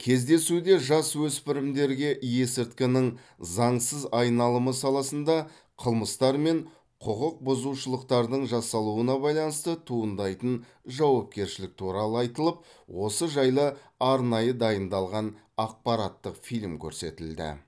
кездесуде жасөспірімдерге есірткінің заңсыз айналымы саласында қылмыстар мен құқық бұзушылықтардың жасалуына байланысты туындайтын жауапкершілік туралы айтылып осы жайлы арнайы дайындалған ақпараттық фильм көрсетілді